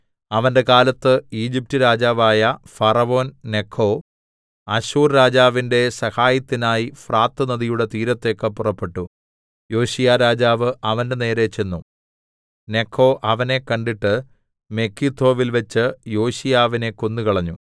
അവന്റെ കാലത്ത് ഈജിപ്റ്റ് രാജാവായ ഫറവോൻനെഖോ അശ്ശൂർരാജാവിന്റെ സഹായത്തിനായി ഫ്രാത്ത് നദിയുടെ തീരത്തേക്ക് പുറപ്പെട്ടു യോശീയാരാജാവ് അവന്റെനേരെ ചെന്നു നെഖോ അവനെ കണ്ടിട്ട് മെഗിദ്ദോവിൽവെച്ച് യോശീയാവിനെ കൊന്നുകളഞ്ഞു